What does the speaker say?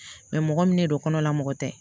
mɔgɔ min de don kɔnɔ la mɔgɔ tɛ